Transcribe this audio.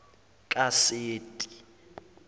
kaseti